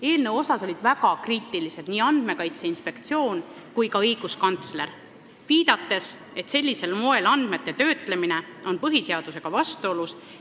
Eelnõu suhtes olid väga kriitilised nii Andmekaitse Inspektsioon kui ka õiguskantsler, viidates, et sellisel moel andmete töötlemine on põhiseadusega vastuolus.